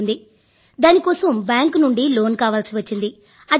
చేయాలనుకుంటే దాని కోసం బ్యాంక్ నుండి లోన్ కావలసి వచ్చింది